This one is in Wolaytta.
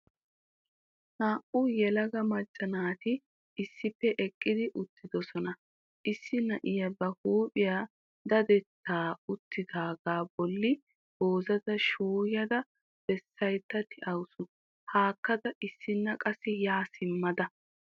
Naa"u yelaga macca naati issippe eqqi uttiddosona. Issi na'iya ba huuphphiya daddetta uttiddogaa bolli gozdaa shuuyada bessayda de'awusu hakkada issinna qassi ya simmada.